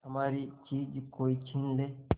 हमारी चीज कोई छीन ले